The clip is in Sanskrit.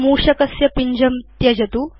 मूषकस्य पिञ्जं त्यजतु